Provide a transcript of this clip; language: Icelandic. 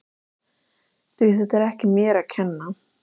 Því þetta var ekki mér að kenna.